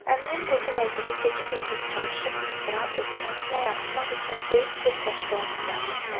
Əmirin qoca vəziri gecə-gündüz çalışıb iftira, böhtan nə yaratmaq üçün böyük bir təşkilat düzəltmişdi.